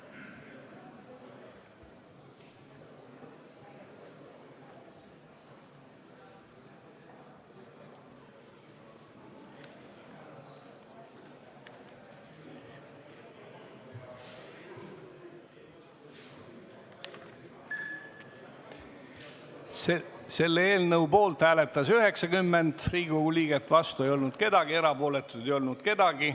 Hääletustulemused Selle eelnõu poolt hääletas 90 Riigikogu liiget, vastu ei olnud keegi, erapooletuid ei olnud.